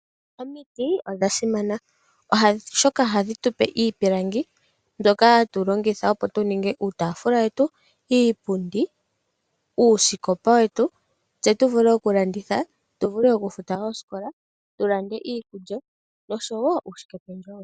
Omiti odha simana oshoka ohadhi tupe iipilangi mbyoka hatu longitha opo tu ninge uutaafula wetu, iipundi, uusikopa wetu, tse tu vule okulanditha tu vule oku futa oosikola, tu lande iikulya noshowo uushikependjewo.